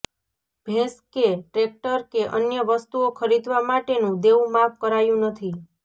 ભેંસ કે ટ્રેકટર કે અન્ય વસ્તુઓ ખરીદવા માટેનું દેવું માફ કરાયું નથી